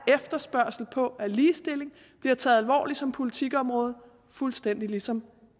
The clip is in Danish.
efterspørgsel på at ligestillingen bliver taget alvorligt som politikområde fuldstændig ligesom